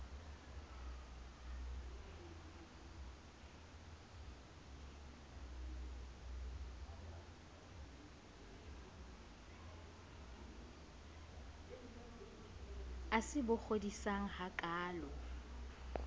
e se bo kgodisang hakaalo